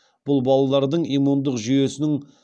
бұл балалардың иммундық жүйесінің